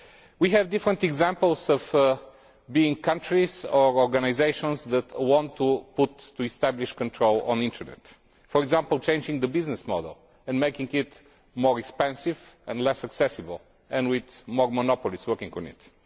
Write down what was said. We have different examples of countries or organisations that want to establish control of the internet, for example, changing the business model and making it more expensive and less accessible and with more monopolies working on it.